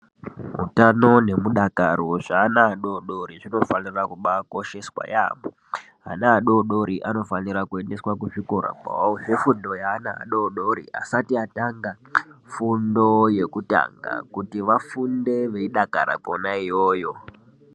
Utano nemudakaro zvaana adodori zvinofanira kubaakosheswa yaamho, ana adodori anofanira kuendeswa kuzvikora kwawo zvefundo yeana adodorii asati atanga fundo yekutanga kuti vafunde veidakara kona iyoyo.